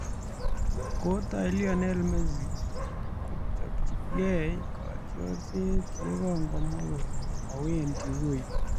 Kotoi Lionel Messi kochobchigei kotiorset yekongomwa kole mowendi wui